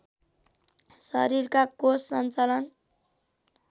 शरीरका कोष सञ्चालन